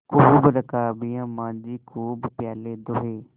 खूब रकाबियाँ माँजी खूब प्याले धोये